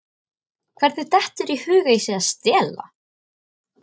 Hvernig dettur þér í hug að ég sé að stela?